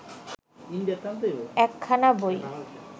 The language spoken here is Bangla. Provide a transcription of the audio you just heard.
একখানা বই